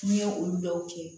N'i ye olu dɔw kɛ